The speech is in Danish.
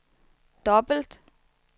dobbelt